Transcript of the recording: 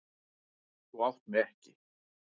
Þú átt mig ekki.